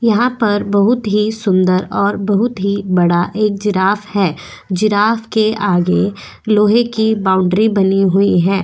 यहां पर बहुत ही सुंदर और बहुत ही बड़ा एक जिराफ है जिराफ के आगे लोहे की बाउंड्री बनी हुई है।